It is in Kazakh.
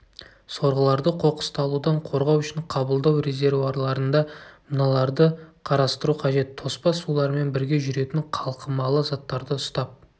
сорғыларды қоқысталудан қорғау үшін қабылдау резервуарларында мыналарды қарастыру қажет тоспа сулармен бірге жүретін қалқымалы заттарды ұстап